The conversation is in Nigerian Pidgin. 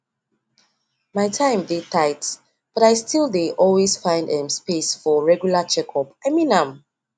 my time dey tight but i still dey always find um space for regular checkup i mean am